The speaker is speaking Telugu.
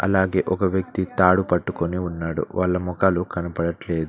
అలాగే ఒక వ్యక్తి తాడు పట్టుకుని ఉన్నాడు వాళ్ళ మొఖాలు కనబడట్లేదు.